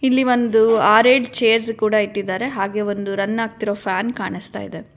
ಇಲ್ಲಿ ಒಂದು ಆರ್ ಏಳ್ ಚೇರ್ಸ್ ಕೂಡ ಇಟ್ಟಿದ್ದಾರೆ ಒಂದು ರನ್ ಆಗ್ತಿರೋ ಫ್ಯಾನ್ ಕಾಣಿಸ್ತಾ ಇದೆ.